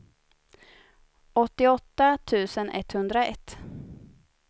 åttioåtta tusen etthundraett